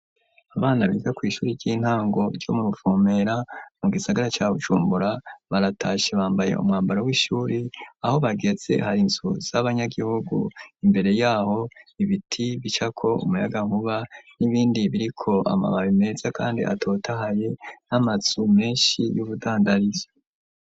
Abana bize ku ishuri ry'intango ryo mu rufumera mu gisagara cya bucumbura baratashe bambaye umwambaro w'ishuri aho bagetse hari insu z'abanyagihugu imbere yaho ibiti bicako umuyaga nkuba n'ibindi biriko amababi meza kandi atota haye n'amatsu menshi y'ubudandarizo.